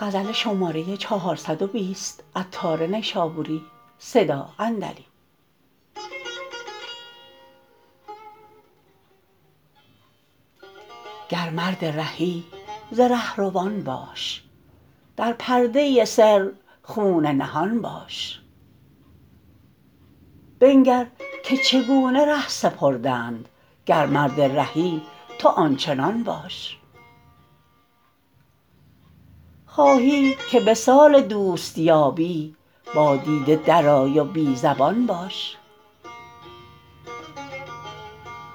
گر مرد رهی ز رهروان باش در پرده سر خون نهان باش بنگر که چگونه ره سپردند گر مرد رهی تو آن چنان باش خواهی که وصال دوست یابی با دیده درآی و بی زبان باش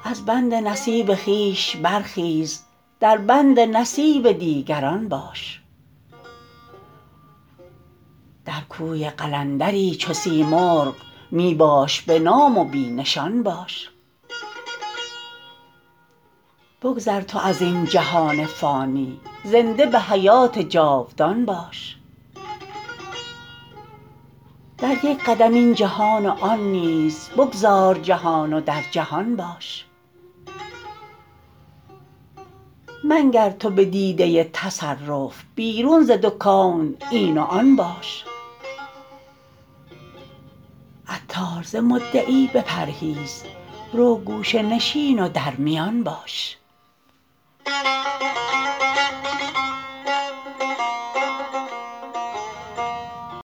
از بند نصیب خویش برخیز دربند نصیب دیگران باش در کوی قلندری چو سیمرغ می باش به نام و بی نشان باش بگذر تو ازین جهان فانی زنده به حیات جاودان باش در یک قدم این جهان و آن نیز بگذار جهان و در جهان باش منگر تو به دیده تصرف بیرون ز دو کون این و آن باش عطار ز مدعی بپرهیز رو گوشه نشین و در میان باش